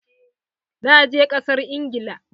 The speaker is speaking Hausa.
Na je kasar Ingila.